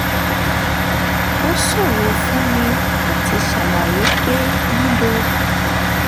ó ṣòro fún mi láti ṣàlàyé pé lílọ